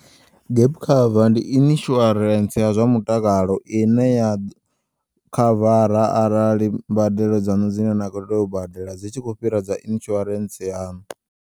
Gap cover ndi insurance ya zwa mutakalo ine ya khavara arali mbadelo dzanu dzine na kho teya u badela dzi tshi khou fhira dza insuance yaṋu.